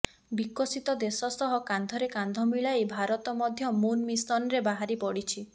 ବିକଶିତ ଦେଶ ସହ କାନ୍ଧରେ କାନ୍ଧ ମିଳାଇ ଭାରତ ମଧ୍ୟ ମୁନ୍ ମିଶନ୍ରେ ବାହାରି ପଡ଼ିଛି